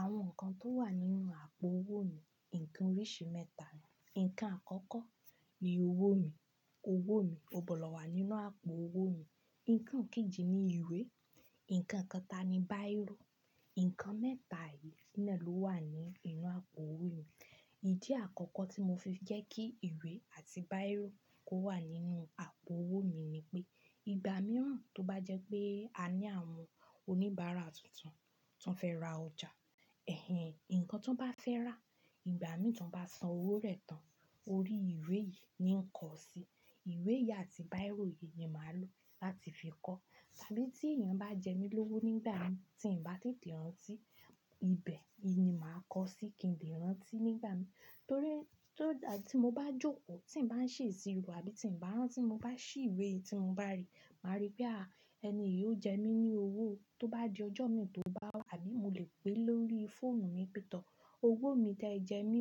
Àwọn nǹkan tó wà nínú àpò owó mi, nǹkan oríṣi mẹ́ta ni. Nǹkan àkọ́kọ́ ni owó mi, owó mi, ó gbọ́dọ̀ wà nínú àpò owó mi. Nǹkan kejì ni ìwé, nǹkan kẹta ni báìrò. Nǹkan mẹ́ta yìí náà ló wà ní inú àpò owó mi. Ìdí àkọ́kọ́ tí mo fi jẹ́ kí ìwé àti báìrò kó wà nínú àpò owó mi ni pé ìgbà mìíràn tó bá jẹ́ pé a ní àwọn oníbàárà tuntun tíwọn fẹ́ ra ọjà, ẹ̀hen, nǹkan tíwọn bá fẹ́ rà, ìgbà mì tíwọn bá san owó rẹ̀ tán, orí ìwé yìí ni ń kọ sí. Ìwé yìí àti báìrò yìí ni màá lò láti fi kọ. Tàbí tí èèyàn bá jẹ mí lówó nígbà mì tí ǹ bá tètè rántí, ibẹ̀ ni màá kọ sí kí ǹ lè rántí nígbà mìíràn. Torí tí mo bá jókòó, tí ǹ bá ń ṣe ìṣirò àbí tí ǹ bá rántí, mo bá ṣí ìwé yìí tí mo bá rí, màá rí pé, à, ẹni yìí ó jẹ mí ní owó tó bá di ọjọ́ mi tò bá wá. Àbí mo lè pè é lórí fóònù mi pẹ̀tọ́. Owó mi tí ẹ jẹ mí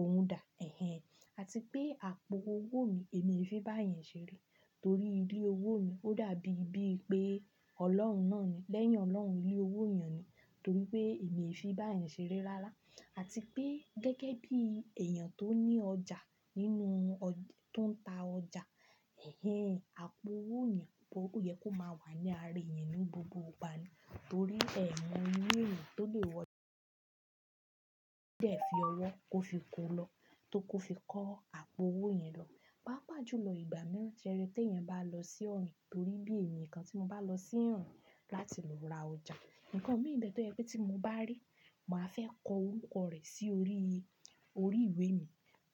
òún dà, ẹ̀hen. Àti pé àpò owó mi èmi fi báyẹn ṣeré. Torí ilé owó mi ó dàbí bí pé Ọlọ́run náà ni. Lẹ́yìn Ọlọ́run ilé owó èèyàn ni. Torí pé èmi e fi báyẹn ṣeré rárá. Àti pé gẹ́gẹ́ bí èèyàn tó ní ọjà nínú oj tó ń ta ọjà, ẹ̀hen, àpò owó yan oyẹ kó máa wà ní ara èèyàn náà gbogbo ìgbà ni. Torí ẹ̀ma irú èrò tó lè wọ kode fi ọwọ́ kó fi kó lọ, tó kó fi kọ́ àpò owó yẹn lọ. Pàápàá jùlọ ìgbà mìíràn ti eri tí èèyàn bá lọ sí ọ̀rìn. Torí bí èmi nǹkan tí mo bá lọ sí ìrìn láti lọ ra ọjà, nǹkan mi nbẹ̀ tó jẹ́ pé tí mo bá rí, màá fẹ́ kọ orúkọ rẹ̀ sí orí, orí ìwé mi.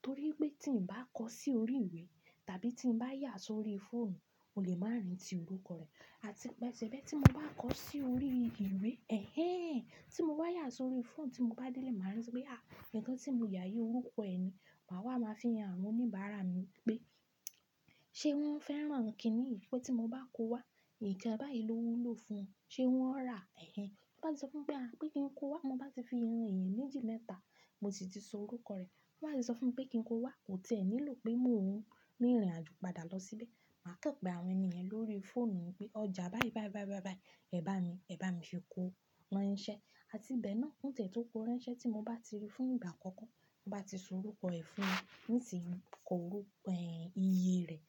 Torí pé tí ǹ bá kọ sí orí ìwé tàbí tí ǹ bá yà sí orí fóònù, mo lè má rántí orúkọ rẹ̀. Àti pé ṣebí tí mo bá kọ sí orí ìwé, ẹ̀hen, tí mo bá yà sí orí fóònù tí mo bá délé, màá rántí pé, à, nǹkan tí mo yà yìí orúkọ ẹ ni. Màá wá máa fi hàn àwọn oníbàárà mi wípé, ṣé wọ́n fẹ́ràn kíni yì? Pé tí mo bá kó wá, nǹkan báyìí ló wúlò fún un. Ṣé wọ́n rà á? Ẹ̀hen. Tíwọn bá sì ti sọ fún mi pé, pé kí ń kó wá. Mo bá ti fi rìn ìrìn méjì mẹ́ta, mo sì ti sọ orúkọ rẹ̀. Tíwọn bá sì sọ fún mi pé kí ń kó wá. Kò tẹ́ ẹ nílò pé mo rìn ìrìnàjò padà lọ síbẹ̀. Màá kàn pè àwọn ènìyàn lórí fóònù pé ọjà báyìí báyìí báyìí báyìí báyìí, ẹ bá mi, ẹ bá mi ṣe kó. Rán iṣẹ́. Àti bẹ́ẹ̀ náà ó tẹ̀ tó kó rán iṣẹ́ tí mo bá ti rí fún ìgbà àkọ́kọ́, mo bá ti sọ orúkọ ẹ̀ fún un, ń ti kọ orúkọ iye rẹ̀.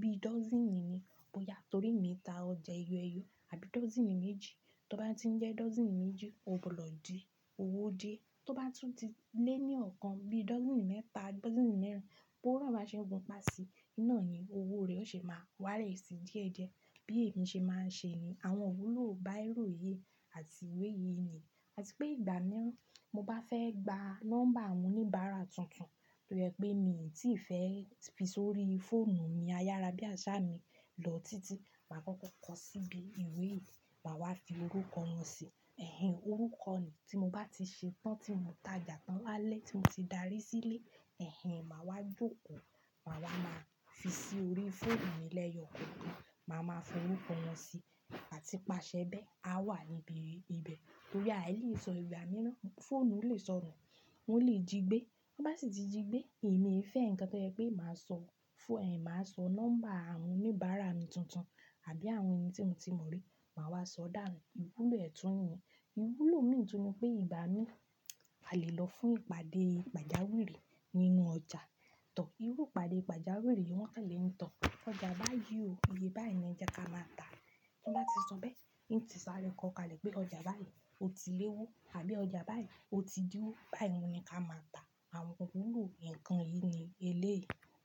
Bíi dọ́sìnì ni bóyá torí mi ta ọjà ẹyọ éyọ. Àbí dọ́sìnì méjì. Tó bá ti ń jẹ́ dọ́sìnì méjì, ó gbọ́dọ̀ di owó díẹ̀. Tó bá tún ti lé ní ọ̀kan, bíi dọ́sìnì mẹ́ta bí dọ́sìnì mẹ́rin, bí owó ná bá ṣe gunpa sìí, iná ni owó rẹ̀ ó ṣe máa wálẹ̀ sí díẹ̀díẹ̀. Bí èmi ṣe máa ń ṣe ni. Àwọn ìwúlò báìrò yìí àti ìwé yìí ni. Àti pé ìgbà mìíràn mo bá fẹ́ gba nọ́mbà àwọn oníbàárà tuntun tójẹ́ pé mi tíì fẹ́ fi sórí fóònù mi ayára bí àsá mi lọ títí, màá kọ́kọ́ kọ síbi ìwé yìí. Màá wá fi orúkọ wọn sí. Ẹ̀hen, orúkọ ni. Tí mo bá ti ṣe tán tí mo tajà tán lálẹ́ tí mo ti darí sílé, ẹ̀hen, màá wá jókòó. Màá wá máa fi sí orí fóònù mi lẹ́yọ kọ̀kan. Màá máa fi orúkọ wọn sí. Àti pàṣẹ bẹ́ẹ̀, a wà níbi ibẹ̀. Torí àì lè sọ ìgbà mìíràn. Fóònù lè sọnù, wọn lè jí gbé. Tí wọn bá sì ti jí gbé, èmi e fẹ́ nǹkan tó jẹ́ pé màá sọ fó--, màá sọ nọ́mbà àwọn oníbàárà mi tuntun àbí àwọn èèyàn tí mo ti mọ̀ rí. Màá wá sọ dànù. Ìwúlò ẹ̀ tún nìyẹn. Ìwúlò mìí tún ni pé ìgbà mìí, a lè lọ fún ìpàdé pàjáwìrì nínú ọjà. Tọ́, irú ìpàdé pàjáwìrì yìí wọ́n kàn lè ni tọ́. Ọjà báyìí o iye báyìí ni ẹ jẹ ká máa tà. Tí wọ́n bá ti sọ bẹ́ẹ̀, ǹ tí sáré kọ kalẹ̀ pé ọjà báyìí ó ti léwó àbí ọjà báyìí ó ti dín owó. Báyìí ni ká máa tà. Àwọn ìwúlò nǹkan yìí ni eléyìí.